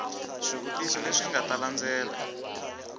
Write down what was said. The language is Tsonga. swivutiso leswi nga ta landzela